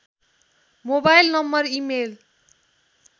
mobile number email